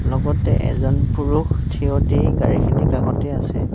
লগতে এজন পুৰুষ থিয় দি গাড়ীখিনিৰ কাষতেই আছে।